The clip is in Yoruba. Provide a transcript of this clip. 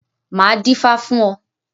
Máa dífá fún ọ.